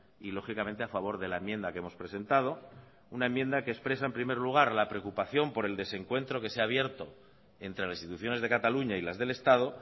y lógicamente a favor de la enmienda que hemos presentado una enmienda que expresa en primer lugar la preocupación por el desencuentro que se ha abierto entre las instituciones de cataluña y las del estado